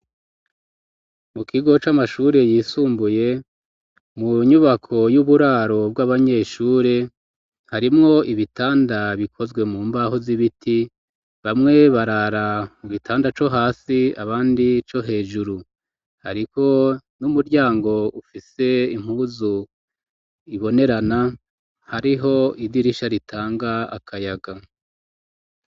Mu kigo c'amashuri yisumbuye mu nyubako y'uburaro bw'abanyeshure harimwo ibitanda bikozwe mu mbaho z'ibiti bamwe barara ubitanda co hasi abandi co hejuru ariko n'umuryango ufise impuzu ibonerana hariho idirisha ritanga akayaga.